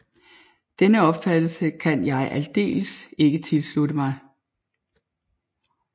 Denne opfattelse kan jeg aldeles ikke tilslutte mig